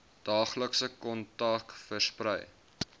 daaglikse kontak versprei